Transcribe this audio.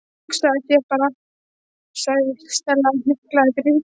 Hugsaðu þér bara- sagði Stella og hnyklaði brýnnar.